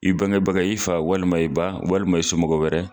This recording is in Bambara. I bangebaga walima i fa walima i ba walima i somɔgɔw wɛrɛ